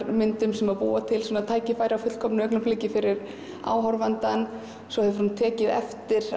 myndum sem búa til tækifæri á fullkomnu augnabliki fyrir áhorfandann svo hefur hún tekið eftir